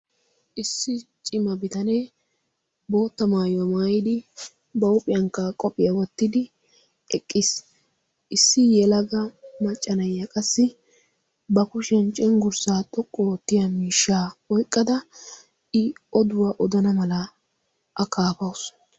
issi cima bitanee bootta maayuwaaa maayidi ba huuphiyankkaa qophphiyaa wottidi eqqiis. issi yelaga maccanayya qassi ba kushiyan cinggurssaa xoqqu oottiya miishshaa oiqqada i oduwaa odana mala a kaafausu.